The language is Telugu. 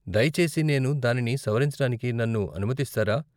దయచేసి నేను దానిని సవరించడానికి నన్ను అనుమతిస్తారా ?